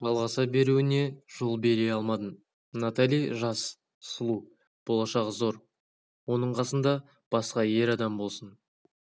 жалғаса беруіне жол бере алмадым наталижас сұлу болашағы зор оның қасында басқа ер адам болсын